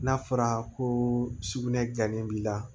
N'a fɔra ko sugunɛ ganden b'i la